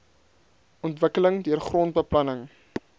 ontwikkeling deur grondbeplanning